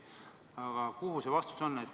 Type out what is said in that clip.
Aga kuhu see vastus jõudis?